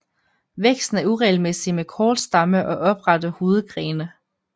Væksten er uregelmæssig med kort stamme og oprette hovedgrene